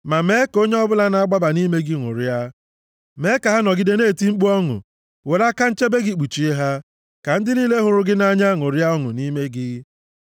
Ma mee ka onye ọbụla na-agbaba nʼime gị ṅụrịa; mee ka ha nọgide na-eti mkpu ọṅụ. Were aka nchebe gị kpuchie ha, ka ndị niile hụrụ aha gị nʼanya ṅụrịa ọṅụ nʼime gị.